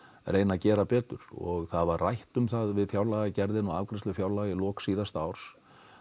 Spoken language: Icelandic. reyna að gera betur og það var rætt um það við fjárlagagerðina og afgreiðslu fjárlaga í lok síðasta árs